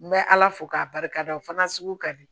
N bɛ ala fo k'a barikada o fana sugu ka di